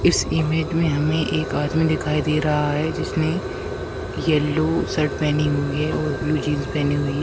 इस इमेज में हमें एक आदमी दिखाई दे रहा है जिसने येलो शर्ट पहनी हुई है और ब्लू जींस पहनी हुई--